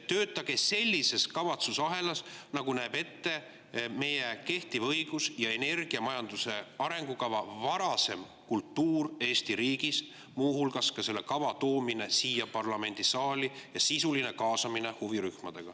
Töötage sellises kavatsusahelas, nagu näeb ette kehtiv õigus ja varasem energiamajanduse arengukavaga kultuur Eesti riigis, muu hulgas tooge see kava siia parlamendisaali ja kaasake sisuliselt huvirühmi.